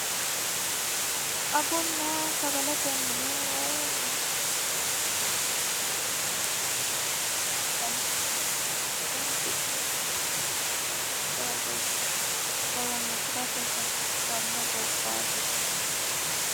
agunna sagale temmine way bunna beetoochi inna migiriitochi yinannihu addinta danchahu sagale hudi'ne marre itate jawa geeshsha holonsi'rate hasiissanno gobbaati